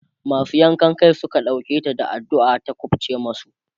masu yankan Kai Suka ɗauke ta da addu'a ta kufce masu